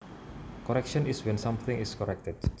Correction is when something is corrected